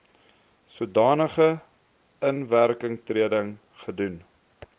sodanige inwerkingtreding gedoen